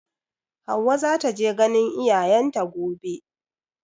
Hauwa za ta je ganin iyayen ta gobe.